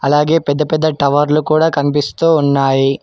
అలాగే పెద్ద పెద్ద టవర్లు కూడా కనిపిస్తూ ఉన్నాయి.